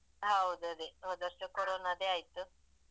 ಹೌದದೆ, ಹೋದವರ್ಷ ಕೊರೊನದ್ದೆ ಆಯ್ತು.